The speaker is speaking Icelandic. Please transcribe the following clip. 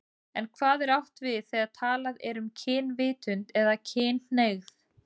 En hvað er átt við þegar talað er um kynvitund eða kynhneigð?